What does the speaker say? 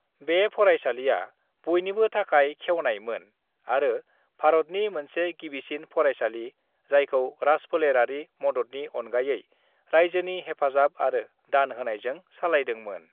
बे फरायसालिया बयनिबो थाखाय खेवनाय मोन आरो भारतनि मोनसे गिबिसिन फरायसालि जायखौ राजफोलेरारि मददनि अनगायै रायजोनि हेफाजाब आरो दान होनायजों सालायदों मोन।